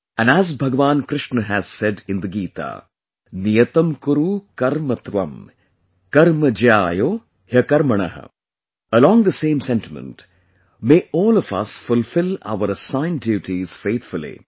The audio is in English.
And as Bhagwan Krishna has said in the Gita, "Niyatam Kuru Karma Twam Karma Jyaayo Hyakarmanah| Along the same sentiment, may all of us fulfill our assigned duties faithfully